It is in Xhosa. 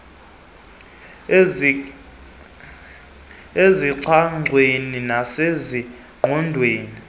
yancanyathiselwa ezingcangweni nasezindongeni